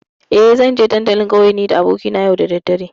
Eh, zanje dandalin ƙauye nida abokina yau da daddare.